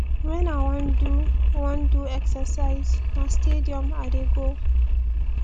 wen i wan do wan do exercise na stadium i dey go